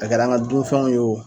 A kɛr'an ga dunfɛnw ye